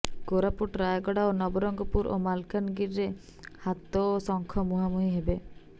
କୋରାପୁଟ ରାୟଗଡ଼ା ନବରଙ୍ଗପୁର ଓ ମାଲକାନଗିରିରେ ହାତ ଓ ଶଙ୍ଖ ମୁହାଁମୁହିଁ ହେବେ